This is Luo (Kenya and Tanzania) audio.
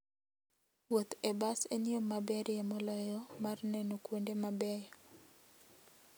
Wuoth e bas en yo maberie moloyo mar neno kuonde mabeyo.